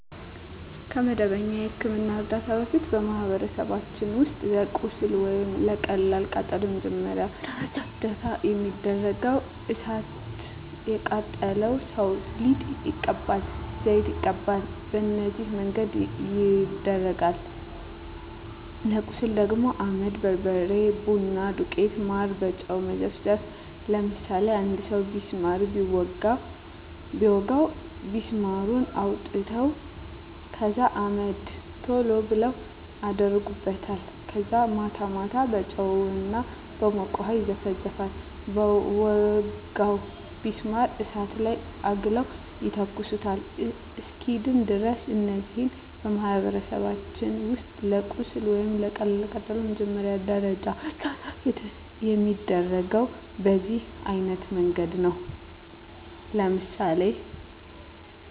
ከመደበኛ የሕክምና ዕርዳታ በፊት፣ በማኅበረሰባችን ውስጥ ለቁስል ወይም ለቀላል ቃጠሎ መጀመሪያ ደረጃ እርዳታ የሚደረገው እሣት የቃጠለው ሠው ሊጥ ይቀባል፤ ዘይት ይቀባል፤ በነዚህ መንገድ ይደረጋል። ለቁስል ደግሞ አመድ፤ በርበሬ፤ ቡና ዱቄት፤ ማር፤ በጨው መዘፍዘፍ፤ ለምሳሌ አንድ ሠው ቢስማር ቢወጋው ቢስማሩን አውጥተው ከዛ አመድ ቶሎ ብለው አደርጉበታል ከዛ ማታ ማታ በጨው እና በሞቀ ውሀ ይዘፈዝፈዋል በወጋው ቢስማር እሳት ላይ አግለው ይተኩሱታል እስኪድን ድረስ። እነዚህ በማኅበረሰባችን ውስጥ ለቁስል ወይም ለቀላል ቃጠሎ መጀመሪያ ደረጃ እርዳታ የሚደረገው በዚህ አይነት መንገድ ነው። ለምሳሌ